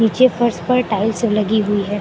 ये फर्श पर टाइल्स लगी हुई है।